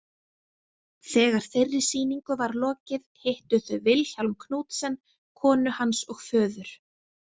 Þegar þeirri sýningu var lokið hittu þau Vilhjálm Knudsen, konu hans og föður.